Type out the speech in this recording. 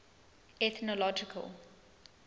ethnological